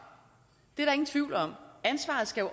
det er der ingen tvivl om ansvaret skal